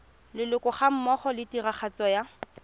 leloko gammogo le tiragatso ya